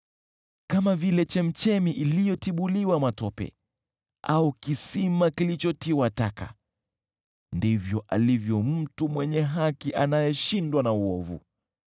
Kama vile chemchemi iliyotibuliwa matope au kisima kilichotiwa taka ndivyo alivyo mtu mwenye haki akishiriki na waovu.